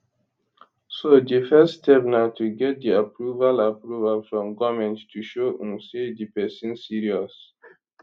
so di first step na to get di approval approval from goment to show um say di pesin serious